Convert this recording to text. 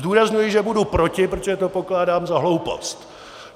Zdůrazňuji, že budu proti, protože to pokládám za hloupost!